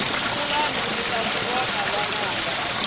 kulahi mita swivona vananga